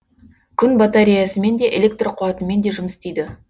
күн батареясымен де электр қуатымен де жұмыс істейді